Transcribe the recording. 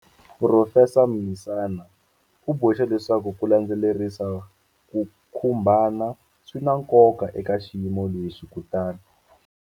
Phurofesa Mlisana u boxe leswaku ku landzelerisa ku khumbana swi na nkoka eka xiyimo lexi kutani.